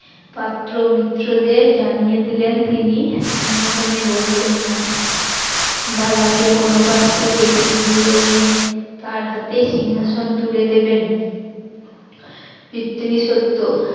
পাত্র মিত্রদের জানিয়ে দিলেন তিনি সিংহাসনে বসবেন না দাদাকে বনবাস থেকে ফিরিয়ে এনে তার হাতে সিংহাসন তুলে দেবেন পিতৃ শর্ত